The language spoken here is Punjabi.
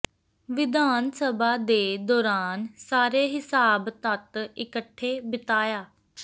ਵਿਧਾਨ ਸਭਾ ਦੇ ਦੌਰਾਨ ਸਾਰੇ ਿਹਸਾਬ ਤੱਤ ਇਕੱਠੇ ਬਿਤਾਇਆ